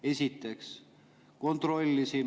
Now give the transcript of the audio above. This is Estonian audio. Esiteks, kontrollisin.